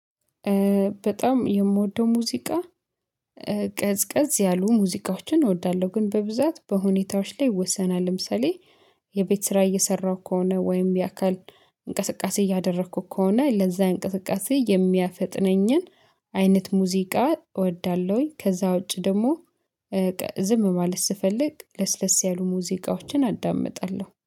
በጣም የምወደው ሙዚቃ። ቀዝቀዝ ያሉ ሙዚቃዎችን እወዳለሁ ግን በብዛት በሁኔታዎች ላይ ይወሰናል። ለምሳሌ የቤት ስራ እየሰራሁ ከሆነ ወይም የአካል እንቅስቃሴ እያደረኩ ከሆነ ለዛ እንቅስቃሴ የሚያፈጥነኝን አይነት ሙዚቃ እወዳለሁኝ። ከዛ ውጪ ደግሞ ዝም ማለት ስፈልግ ለስለስ ያሉ ሙዚቃዎችን አዳምጣለሁ